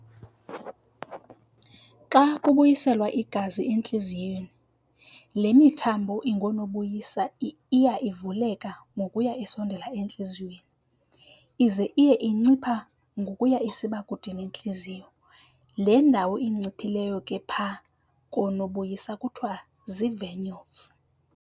Xa kubuyiselwa igazi entliziyweni le mithambo ingoonobuyisa iya ivuleka ngokuya isondela entliziyweni, ize iye incipha ngokuya isiba kude nentliziyo, le ndawo inciphileyo ke apha koonobuyisa kuthiwa zii-"venules".